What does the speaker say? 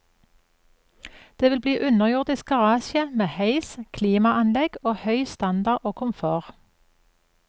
Det vil bli underjordisk garasje med heis, klimaanlegg og høy standard og komfort.